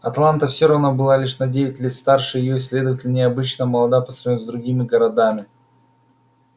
атланта всё равно была лишь на девять лет старше её и следовательно необычно молода по сравнению с другими городами